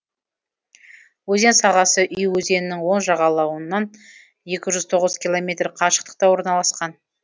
өзен сағасы уй өзенінің оң жағалауынан екі жүз тоғыз километр қашықтықта орналасқан